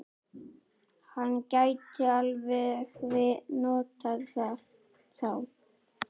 Hann gæti alveg notað þá.